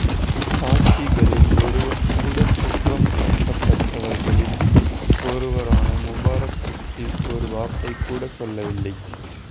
சாட்சிகளில் ஒருவர் கூட குற்றம் சாட்டப்பட்டவர்களில் ஒருவரான முபாரக் பற்றி ஒரு வார்த்தை கூட சொல்லவில்லை